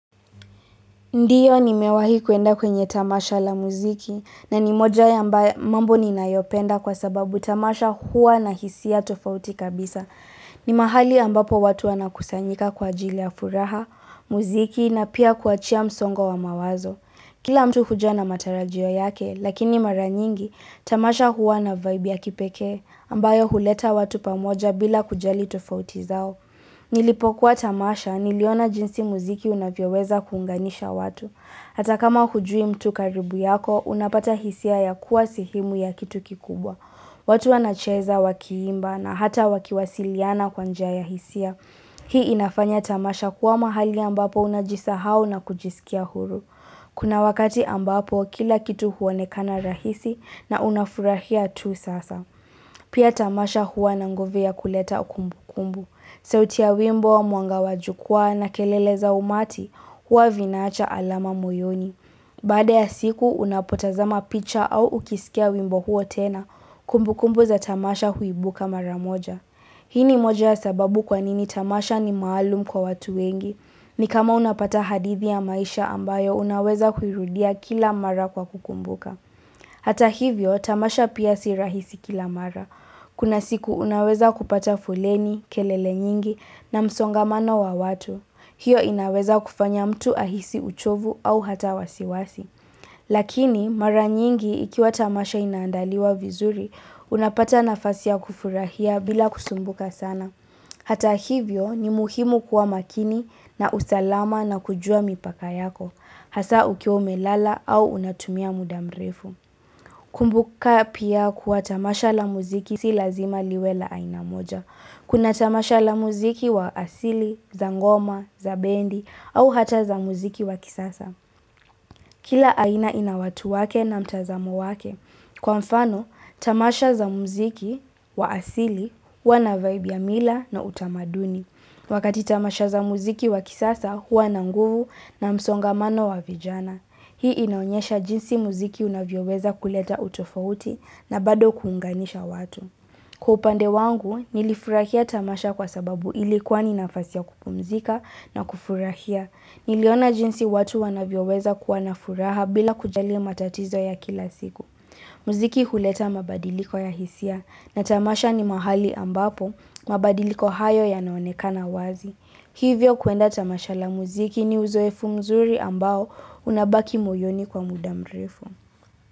Ndiyo nimewahi kuenda kwenye tamasha la muziki na ni moja ya mambo ninayopenda kwa sababu tamasha huwa na hisia tofauti kabisa. Ni mahali ambapo watu wana kusanyika kwa ajili ya furaha, muziki na pia kuachia msongo wa mawazo. Kila mtu huja na matarajio yake lakini mara nyingi tamasha huwa na vibe ya kipekee ambayo huleta watu pamoja bila kujali tofauti zao. Nilipokuwa tamasha niliona jinsi muziki unavyoweza kuunganisha watu Hata kama hujui mtu karibu yako unapata hisia ya kuwa sehemu ya kitu kikubwa watu wanacheza wakiimba na hata wakiwasiliana kwa njia ya hisia Hii inafanya tamasha kuwa mahali ambapo unajisahau na kujisikia huru Kuna wakati ambapo kila kitu huonekana rahisi na unafurahia tu sasa Pia tamasha huwa na nguvu ya kuleta kumbu kumbu sauti ya wimbo mwanga wa jukwaa na kelele za umati, huwa vinaacha alama moyoni Baada ya siku, unapotazama picha au ukisikia wimbo huo tena, kumbukumbu za tamasha huibuka mara moja. Hini moja ya sababu kwanini tamasha ni maalum kwa watu wengi, ni kama unapata hadithi ya maisha ambayo unaweza kuirudia kila mara kwa kukumbuka. Hata hivyo tamasha pia si rahisi kila mara. Kuna siku unaweza kupata foleni, kelele nyingi na msongamano wa watu. Hio inaweza kufanya mtu ahisi uchovu au hata wasiwasi. Lakini mara nyingi ikiwa tamasha inaandaliwa vizuri, unapata nafasi ya kufurahia bila kusumbuka sana. Hata hivyo ni muhimu kuwa makini na usalama na kujua mipaka yako. Hasa ukiwa umelala au unatumia muda mrefu. Kumbuka pia kuwa tamasha la muziki si lazima liwe la aina moja. Kuna tamasha la muziki wa asili, za ngoma, za bendi au hata za muziki wa kisasa. Kila aina inawatu wake na mtazamo wake. Kwa mfano, tamasha za muziki wa asili huwa na vaibu ya mila na utamaduni. Wakati tamasha za muziki wa kisasa, huwa na nguvu na msongamano wa vijana. Hii inaonyesha jinsi muziki unavyoweza kuleta utofauti na bado kuunganisha watu. Kupande wangu, nilifurahia tamasha kwa sababu ilikuwa ni nafasi ya kupumzika na kufurahia. Niliona jinsi watu wanavyoweza kuwa na furaha bila kujali matatizo ya kila siku. Muziki huleta mabadiliko ya hisia na tamasha ni mahali ambapo mabadiliko hayo yanaonekana wazi. Hivyo kuenda tamasha la muziki ni uzoefu mzuri ambao unabaki moyoni kwa muda mrefu.